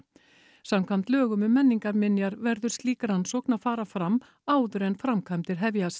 samkvæmt lögum um menningarminjar verður slík rannsókn að fara fram áður en framkvæmdir hefjast